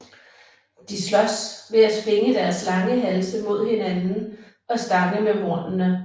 De slås ved at svinge deres lange halse mod hinanden og stange med hornene